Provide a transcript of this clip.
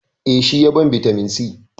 Eh, shi ya ban bitamin c.